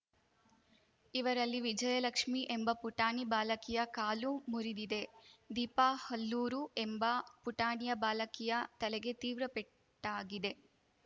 ಇವರಲ್ಲಿ ವಿಜಯಲಕ್ಷ್ಮಿ ಎಂಬ ಪುಟಾಣಿ ಬಾಲಕಿಯ ಕಾಲು ಮುರಿದಿದೆ ದೀಪಾ ಹುಲ್ಲೂರು ಎಂಬ ಪುಟಾಣಿಯ ಬಾಲಕಿಯ ತಲೆಗೆ ತೀವ್ರ ಪಟ್ಟಾಗಿದೆ